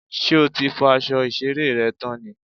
Ṣé o ti fọ́ aṣọ ìṣeré rẹ tán ni?